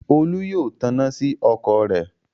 Olú yóò taná sí ọkọ̀ rẹ̀.